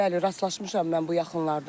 Bəli, rastlaşmışam mən bu yaxınlarda.